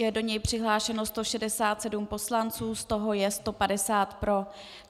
Je do něj přihlášeno 167 poslanců, z toho je 150 pro.